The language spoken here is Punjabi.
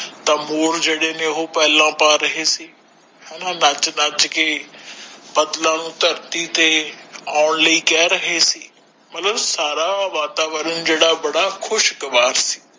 ਤਾ ਮੋਰ ਜੇਡੇ ਨੇ ਉਹ ਪੇਲਾ ਪਾ ਰਹੇ ਸੀ ਹਣਾ ਨਚ ਨਚ ਕੇ ਬਦਲਾ ਨੂੰ ਧਰਤੀ ਤੇ ਆਉਣ ਲਿਯ ਕੇਹ ਰਹੇ ਸੀ ਮਤਲਬ ਸਾਰਾ ਵਾਤਾਵਰਣ ਜੇੜਾ ਬੜਾ ਖੁਸ਼ਗਵਾਰ ਸੀ